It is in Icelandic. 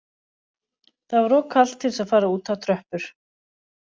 Það var of kalt til að fara út á tröppur